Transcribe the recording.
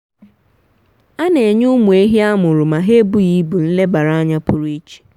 a na-enye ụmụ ehi a mụrụ ma ha ebughị ibụ nlebara anya pụrụ iche.